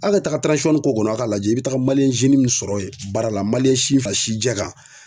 Ali ka taga k'o kɔnɔ a ka lajɛ, i bi taa maliyɛn min sɔrɔ yen baara la maliyɛn si fin fra si jɛ kan.